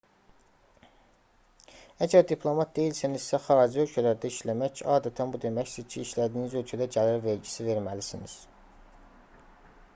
əgər diplomat deyilsinizsə xarici ölkələrdə işləmək adətən bu deməkdir ki işlədiyiniz ölkədə gəlir vergisi verməlisiniz